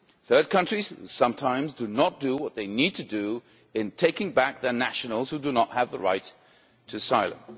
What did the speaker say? Third countries sometimes do not do what they need to do in taking back their nationals who do not have the right to asylum.